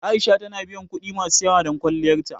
A'isha ta biya kuɗi masu yawa don kwalliyar ta.